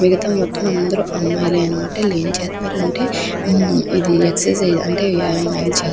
మిగితా మొత్తం అందరు అమ్మాయిలే అనమాట వీళ్లు ఏం చేస్తారు అంటే ఇది ఎక్సర్సిస్ అంటే వ్యాయామాలు --